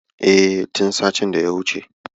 E, tin satin daya wuce.